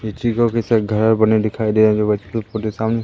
को कैसे घर बने दिखाई दे जो बच्चों को साम--